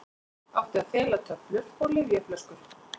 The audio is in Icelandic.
Átti að fela töflur og lyfjaflöskur